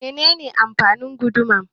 Mene ne amfanin guduma?